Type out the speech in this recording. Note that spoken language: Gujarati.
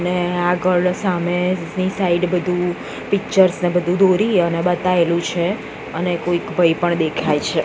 ને આગળ સામેની સાઈડ બધુ પિક્ચર્સ ને બધુ દોરી અને બતાએલુ છે અને કોઇક ભઈ પણ દેખાઈ છે.